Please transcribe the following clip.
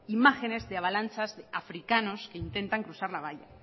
imágenes de avalanchas de africanos que intentan cruzar la vallas